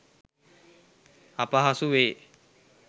අපහසුවේ.